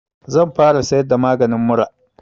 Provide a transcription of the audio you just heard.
Zan fara siyar da maganin mura